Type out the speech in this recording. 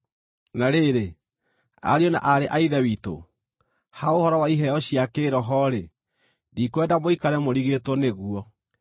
Na rĩrĩ, ariũ na aarĩ a Ithe witũ, ha ũhoro wa iheo cia kĩĩroho-rĩ, ndikwenda mũikare mũrigĩtwo nĩguo.